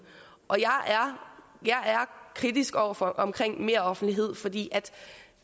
jeg er kritisk over for meroffentlighed fordi